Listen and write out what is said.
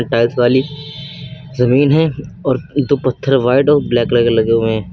Tiles वाली जमीन है और दो पत्थर व्हाइट और ब्लैक कलर के लगे हुए हैं।